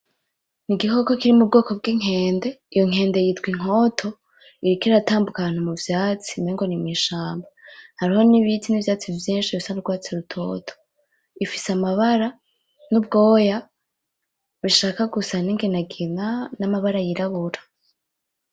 igikoko kiri mu bwoko bw'inkende iyo nkende yitwa inkoto iriko iratambuka ahantu mu vyatsi mengo n'imwishamba hariho n'ibiti n'ivyatsi vyinshi bisa n'urwatsi rutoto ifise amabara n'ubwoya bushaka gusa n’inginagina n'amabara y'irabura .